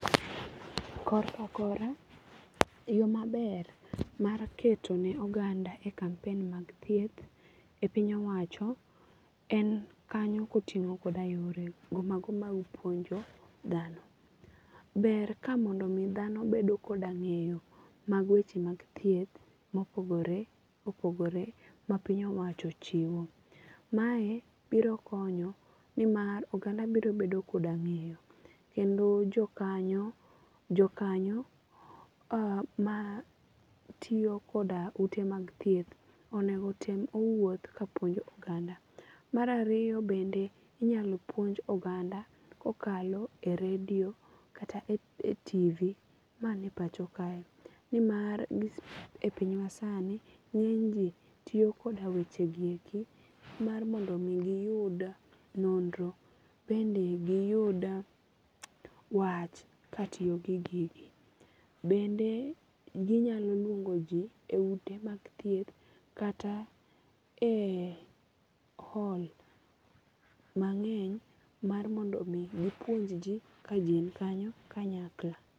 Yo maber mar keto ne oganda e kamapen mag thieth e piny owacho en kanyo kotingo koda yore go mago mag puonjo dhano. Ber ka mondo mi dhano bedo koda ng'eyo mag weche mag thieth ma opogore opogore ma piny owacho ochiwo. Mae biro konyo ni mar oganda biro bedo koda ng'eyo kendo jo kanyo jo kanyo ma tiyo koda ute mag thieth onengo otem owuoth ka puonjo oganda. Mar ariyo bende inyalo puonj oganda kokalo e radio kata e [csTV mani e pacho kae. Ni mar e piny masani, ng'eny ji tiyo koda weche gi eki mar mondo mi giyud nonro. Bende giyud wach katiyo gi gigi. Bende ginyalo luongoji e ute mag thieth kata e hall mangeny mar mondo mi gipuonj ji ka ji nikanyo kanyakla.